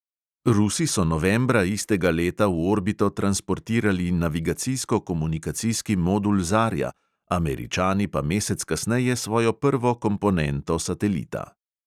Rusi so novembra istega leta v orbito transportirali navigacijsko-komunikacijski modul zarja, američani pa mesec kasneje svojo prvo komponento satelita.